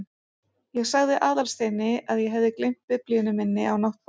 Ég sagði Aðalsteini að ég hefði gleymt biblíunni minni á náttborðinu.